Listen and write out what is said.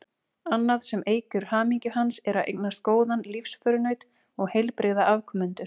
Annað sem eykur hamingju hans er að eignast góðan lífsförunaut og heilbrigða afkomendur.